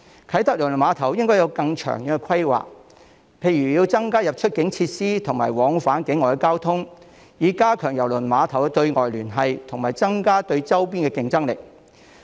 啟德郵輪碼頭應該有更長遠的規劃，例如增加出入境設施和往返境外的交通，以加強郵輪碼頭對外聯繫及增加對周邊地區的競爭力。